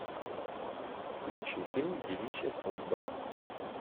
включи фильм девичья судьба